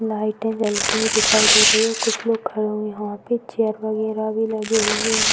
लाइटे जलती हुई दिखाई दे रही है। कुछ लोग खड़े हुए हैं | यहाँ पे चेयर वगैरा भी लगे हुए हैं।